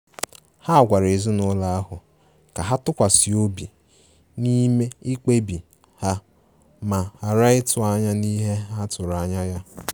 Ha gwara ezinụlọ ahụ ka ha tụkwasi obi n'ime mkpebi ha ma ghara ịtụ anya n'ihe ha tụrụ anya ya.